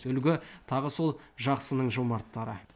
үлгі тағы сол жақсының жомарттары